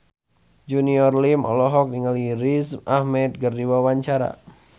Junior Liem olohok ningali Riz Ahmed keur diwawancara